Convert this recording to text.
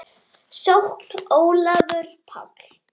Sókn: Ólafur Páll